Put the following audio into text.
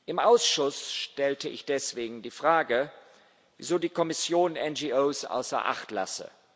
Im Ausschuss stellte ich deswegen die Frage, wieso die Kommission NGOs außer Acht lasse.